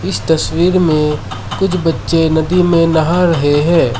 इस तस्वीर में कुछ बच्चे नदी में नहा रहे हैं।